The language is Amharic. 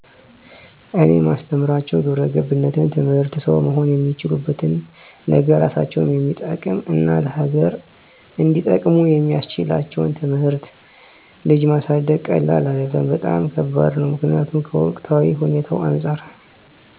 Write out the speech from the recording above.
እኔ ማስተምራቸው ግብረገብነት ትምህርት ሠው መሆን እሚችሉበትን ነገ እራሳቸውን እሚጠቅም እና ለሀገር እንዲጠቅሙ የሚስችላቸውን ትምህርት። ልጅ ማሳደግ ቀላል አደለም በጣም ከባድ ነው ምክኒያቱም ከወቅታዊ ሁኔታው አንፃር